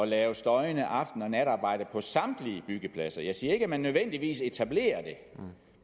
lave støjende aften og natarbejde på samtlige byggepladser jeg siger ikke at man nødvendigvis etablerer det